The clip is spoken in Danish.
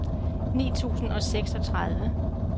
ni tusind og seksogtredive